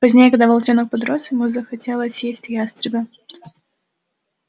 позднее когда волчонок подрос ему захотелось съесть ястреба